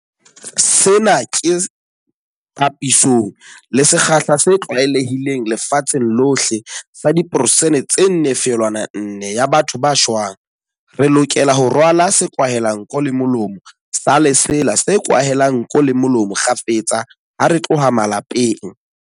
Sena ke papisong le sekgahla se tlwaelehileng lefatsheng lohle sa diperesente tse 4.4 ya batho ba shwang. Re lokela ho rwala sekwahelanko le molomo sa lesela se kwahelang nko le molomo kgafetsa ha re tloha malapeng.